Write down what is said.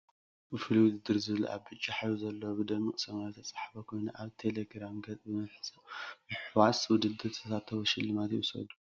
ፍሉይ ውድድር ዝብል ኣብ ብጫ ሕብሪ ዘለዎ ብደሚ8ቅ ሰማያዊ ዝተፅሓፈ ኮይኑኣብ ቴሌ ግራም ገፅ ብምሕዋስብ ውድድር ተሳተፉ ሽልማቶም ይውሰዱ ።